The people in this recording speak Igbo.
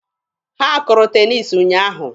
Ha kụrụ teniisi ụnyaahụ.